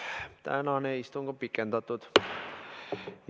Tänane istung on pikendatud.